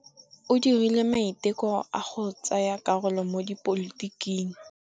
O dirile maitekô a go tsaya karolo mo dipolotiking.